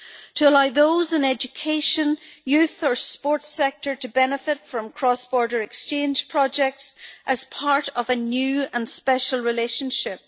to allow those in the education, youth or sports sectors to benefit from cross-border exchange projects as part of a new and special relationship.